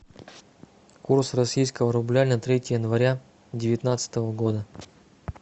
курс российского рубля на третье января девятнадцатого года